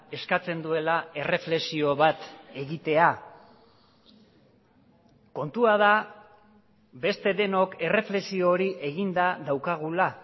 eskatzen duela erreflexio bat egitea kontua da beste denok erreflexio hori eginda daukagula